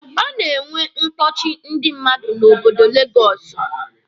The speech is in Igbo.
A na-enwe mkpọchị ndị mmadụ n'obodo legọsụ.